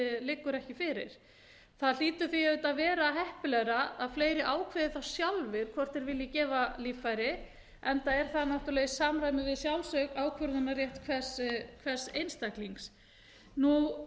liggur ekki fyrir það hlýtur því auðvitað að vera heppilegra að fleiri ákveði þá sjálfir hvort þeir vilji gefa líffæri enda er það náttúrlega í samræmi við sjálfsákvörðunarrétt hvers einstaklings það er ekki gert ráð